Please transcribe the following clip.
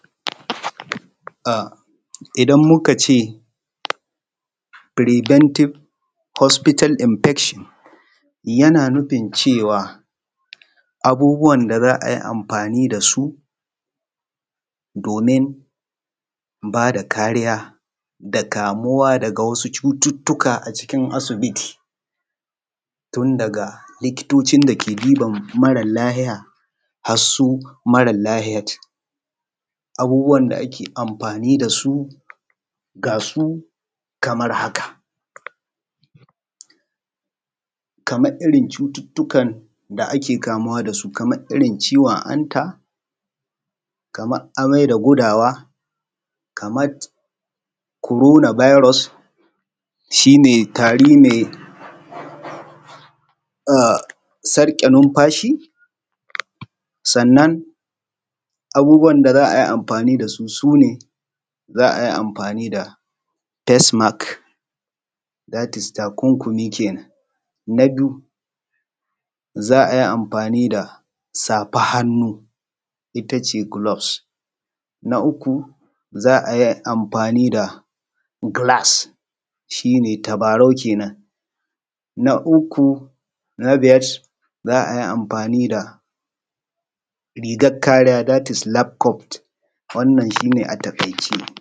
A idan muka ce firibantib hosfital inbekshin yana nufin cewa abubuwan da za a yi amfani da su domin ba da kariya da kamuwa da wasu cututtuka a cikin asibiti tun daga likitoci inda ke diban mara lahiya har su mara lahiyat. Abubuwan da ake amfani da su gasu kamar haka: kamar irin cututtukan da ake kamuwa da su kamar irin ciwon hanta, kamar amai da gudawa, kamat korona bairos shi ne tari a sarke numfashi. Sannan abubuwan da za a yi amfani da su su ne za a yi amfani da fesmak dat is takunkumi kenan. Na biyu za a yi amfani da safar hannu ita ce gulofs, na uku za a yi amfani da gilas shi ne tabarau kenan na ukun biyas za a yi amfani da rigar kariya dat is lafkot wannan shi ne a taƙaice.